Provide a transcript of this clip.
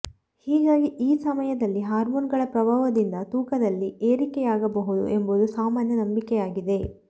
ಹೀಗಾಗಿ ಈ ಸಮಯದಲ್ಲಿ ಹಾಮೋನುಗಳ ಪ್ರಭಾವದಿಂದ ತೂಕದಲ್ಲಿ ಏರಿಕೆಯಾಗಬಹುದು ಎಂಬುದು ಸಾಮಾನ್ಯ ನಂಬಿಕೆಯಾಗಿದೆ